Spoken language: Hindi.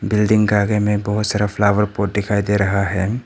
बिल्डिंग का आगे में बहुत सारा फ्लावर पॉट दिखाई दे रहा है।